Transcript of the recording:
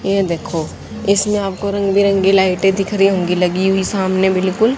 ये देखो इसमें आपको रंग बिरंगी लाइटें दिख रही होंगी लगी हुई सामने बिल्कुल--